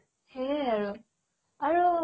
সেয়ে আৰু আৰু